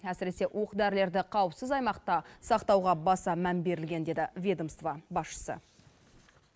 әсіресе оқ дәрілерді қауіпсіз аймақта сақтауға баса мән берілген деді ведомство басшысы